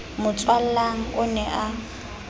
mo tswalang o ne a